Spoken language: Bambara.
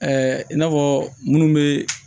i n'a fɔ minnu bɛ